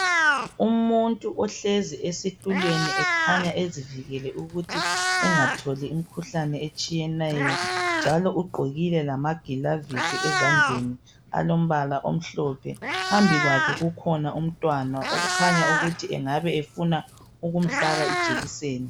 Umuntu ohlezi esitulweni ekhanya ezivikele ukuthi engatholi umkhuhlane etshiyeneyo njalo ugqokile lama gloves ezandleni alombala omhlophe phambi kwakhe kukhona umntwana okukhanya ukuthi engafuna ukumfaka ijekiseni